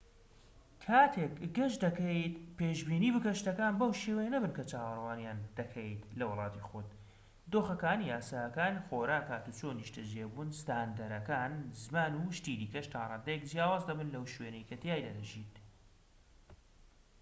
کاتێک گەشت دەکەیت پێشبینی بکە شتەکان بەو شێوەیە نەبن کە چاوەڕوانیان دەکەیت لە وڵاتی خۆت دۆخەکان یاساکان خۆراک هاتووچۆ نیشتەجێبوون ستاندەرەکان زمان و شتی دیکەش تا ڕادەیەک جیاواز دەبن لەو شوێنەی کە تیایدا دەژیت